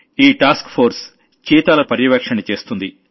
ఈ task force చీతాలను monitor చేస్తుంది